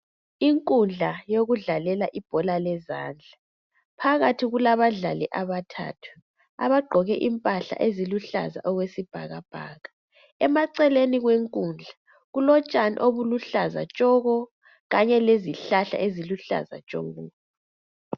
Inkudla yokudlalela ibhola lezandla phakathi kulabadlali abathathu abagqoke impahla eziluhlaza okwesibhakabhaka, emaceleni kwenkundla kulotshani obuluhlaza tshoko kanye lezihlahla eziluhlaza tshoko.